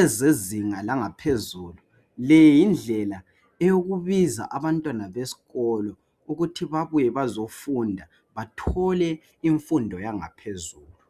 ezezinga langaphezulu , le yindlela eyokubiza abantwana besikolo ukuthi babuye bezofunda bathole imfundo yangaphezulu